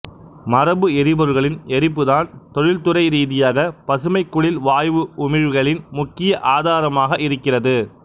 மரபு எரிபொருள்களின் எரிப்பு தான் தொழில்துறைரீதியாக பசுமைக்குடில் வாயு உமிழ்வுகளின் முக்கிய ஆதாரமாக இருக்கிறது